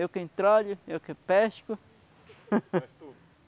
Eu que entralho, eu que pesco. Você faz tudo.